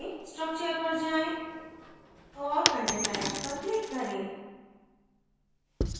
structure पर जाएँ और content types पर click करें